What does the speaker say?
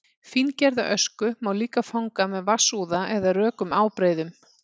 fíngerða ösku má líka fanga með vatnsúða eða rökum ábreiðum